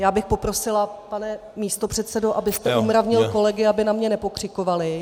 Já bych poprosila, pane místopředsedo, abyste umravnil kolegy, aby na mě nepokřikovali.